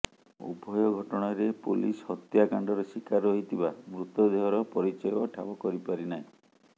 ଉଭୟ ଘଟଣାରେ ପୋଲିସ ହତ୍ୟାକାଣ୍ଡର ଶୀକାର ହୋଇଥିବା ମୃତଦେହର ପରିଚୟ ଠାବ କରି ପାରି ନାହିଁ